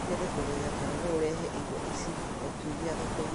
No nyende kũmenya kana no ũrehe indo ici o kiumia thoko-inĩ